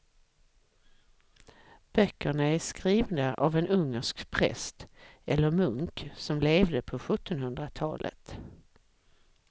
Böckerna är skrivna av en ungersk präst eller munk som levde på sjuttonhundratalet.